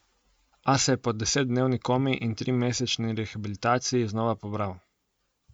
A se je po desetdnevni komi in trimesečni rehabilitaciji znova pobral.